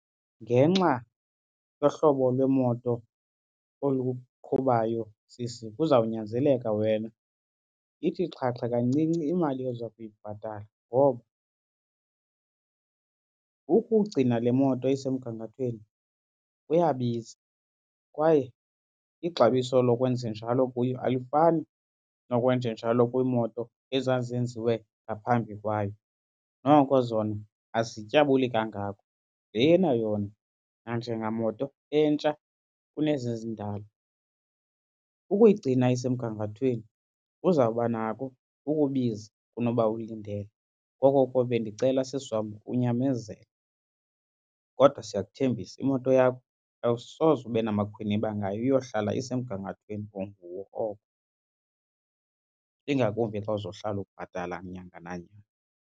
Ngenxa yohlobo lwemoto oluqhubayo, sisi, kuzawunyanzeleka wena ithi xhaxhe kancinci imali oza kuyibhatala ngoba ukugcina le moto isemgangathweni kuyabiza kwaye ixabiso lokwenzenjalo kuyo alifani nokwenjenjalo kwiimoto ezazenziwe ngaphambi kwayo. Noko zona azityabuli kangako. Lena yona nanjengamoto entsha kunezi zindala, ukuyigcina isemgangathweni kuzawuba nako ukubiza kunoba ulindele. Ngoko ke bendicela, sisi wam, unyamezele kodwa siyakuthembisa imoto yakho awusoze ube namakhwinyiba ngayo iyohlala isemgangathweni onguwo oko ingakumbi xa uzohlala ubhatala nyanga nanyanga.